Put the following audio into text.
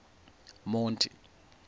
monti